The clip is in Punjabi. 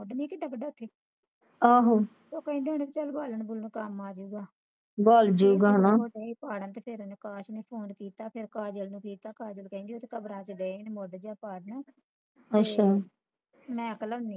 ਮੁਡਮੀ ਕੇ ਡਾਗਾਂਡੂਗੀ ਉਹ ਕਹਿੰਦੇ ਹੋਣੇ ਚਲ ਬਾਲਣ ਬੁਲਨ ਕੰਮ ਆ ਜਾਵੋ ਗਾ ਤੇ ਏ ਪਾੜਨ ਤੇ ਕਾਸ਼ ਨੂੰ ਫੋਨ ਕਿਤਾ ਫਿਰ ਕਾਜਲ ਨੂੰ ਕਿਤਾ ਕਾਜਲ ਕਹਿੰਦੀ ਕੇ ਉਹ ਤਾ ਕਬਰਾਂ ਚ ਗਏ ਨੇ ਮੁਡ਼ਕੇਯਾ ਪਾਅਨ